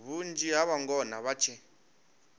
vhunzhi ha vhangona vha tshe